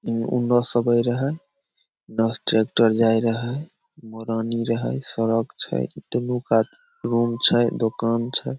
ऊ उने से आबे रहे इने से ट्रैक्टर जाय रहे मुरानी रहे सड़क छै दुनु कात रूम छै दुकान छै।